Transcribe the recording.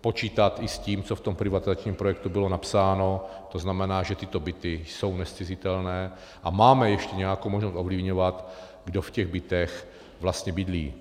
počítat i s tím, co v tom privatizačním projektu bylo napsáno, to znamená, že tyto byty jsou nezcizitelné, a máme ještě nějakou možnost ovlivňovat, kdo v těch bytech vlastně bydlí.